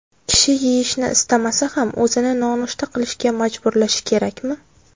Kishi yeyishni istamasa ham o‘zini nonushta qilishga majburlashi kerakmi?